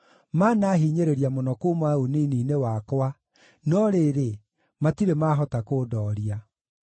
maanahinyĩrĩria mũno kuuma ũnini-inĩ wakwa, no rĩrĩ, matirĩ maahota kũndooria.